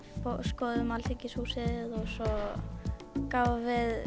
skoðuðum Alþingishúsið og gáfum